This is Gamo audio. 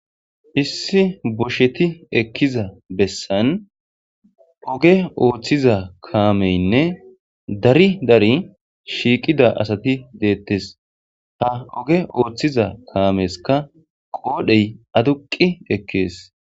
Issi boshetti ekkiza bessan ogge oththiza kammeyinne dari dari shiqqida asati dettes ha ogge oththizza kamezika qodheyi adduqi ekkes.